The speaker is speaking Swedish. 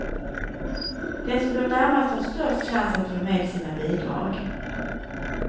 Den som bor närmast har störst chans att få med sina bidrag.